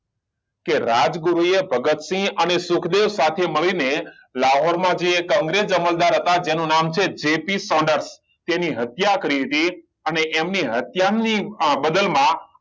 કે રાજગુરુ એ ભગતસિંહ અને સુખદેવ સાથે મળી ને લાહોર માં જે એક અંગ્રેજ અમલદાર હતા જેનું નામ છે જે. પી સોનર્સ તેની હત્યા કરી હતી અને એની હત્યા ની અમ બાદલ માં